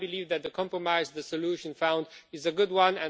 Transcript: But I believe that the compromise, the solution found is a good one.